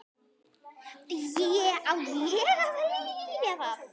Á ég að velja það?